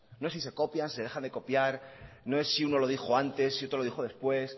no es si se copia se deja de copiar no es si uno lo dijo antes si otro lo dijo después